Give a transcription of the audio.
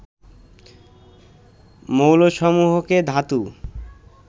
মৌলসমূহকে ধাতু